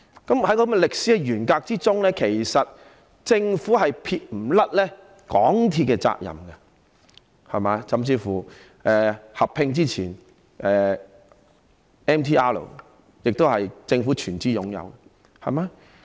在這種歷史沿革之中，政府其實是不能撇清對港鐵的責任的，甚至港鐵在與九鐵合併前 ，"MTR" 亦是由政府全資擁有的。